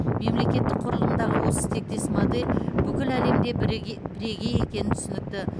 мемлекеттік құрылымдағы осы тектес модель бүкіл әлемде бірегей екені түсінікті